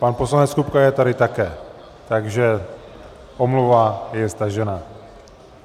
Pan poslanec Kupka je tady také, takže omluva je stažena.